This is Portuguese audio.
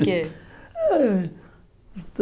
Por quê? Ah